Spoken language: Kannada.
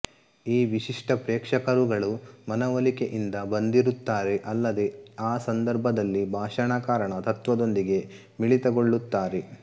ಈ ವಿಶಿಷ್ಟ ಪ್ರೇಕ್ಷಕರುಗಳು ಮನವೊಲಿಕೆಯಿಂದ ಬಂದಿರುತ್ತಾರೆಅಲ್ಲದೇ ಆ ಸಂದರ್ಭದಲ್ಲಿ ಭಾಷಣಕಾರನ ತತ್ವದೊಂದಿಗೆ ಮಿಳಿತಗೊಳ್ಳುತ್ತಾರೆ